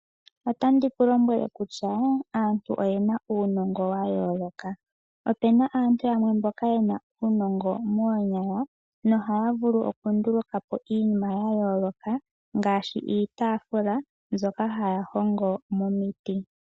Otandi ku lombwele kutya aantu oyena uunongo wa yooloka. Opuna aantu yamwe mboka yena uunongo moonyala nohaya vulu okunduluka po iinima ya yooloka ngaashi iitaafula mbyoka haya hongo momiti.